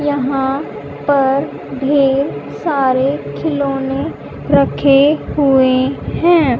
यहां पर ढेर सारे खिलौने रखे हुए हैं।